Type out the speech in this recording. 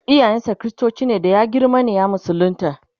iyayen sa kristoci ne da ya girma ne ya musulunta